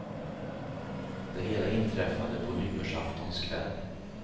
Det hela inträffade på nyårsaftons kväll.